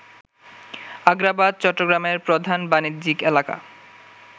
আগ্রাবাদ, চট্টগ্রামের প্রধান বাণিজ্যিক এলাকা